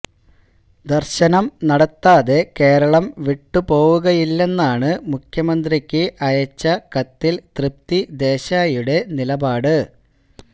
ദര്ശനം നടത്താതെ കേരളം വിട്ടുപോവുകയില്ലെന്നാണ് മുഖ്യമന്ത്രിക്ക് അയച്ച കത്തില് തൃപ്തി ദേശായിയുടെ നിലപാട്